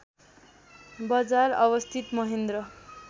बजार अवस्थित महेन्द्र